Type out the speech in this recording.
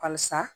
Halisa